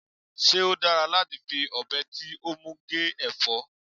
se o dara lati fi obe ti o mu fi ge efo?